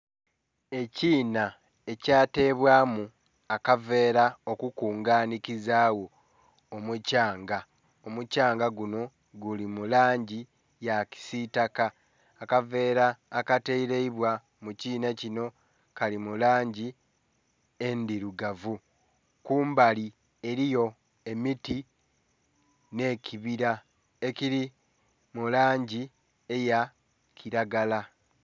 Ekiina ekyatebwamu akaveera okukunganikizagho omuthyanga, omuthyanga guno guli mu langi ya kisiitaka, akaveera akatereibwa mu kiina kino kali mu langi endhirugavu, kumbali eliyo emiti n'ekibira ekiri mu langi eya kiragala.